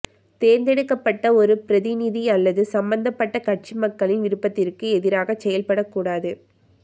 தேர்ந்தெடுக்கப்பட்ட ஒரு பிரதிநிதி அல்லது சம்பந்தப்பட்ட கட்சி மக்களின் விருப்பத்திற்கு எதிராகச் செயல்படக்கூடாது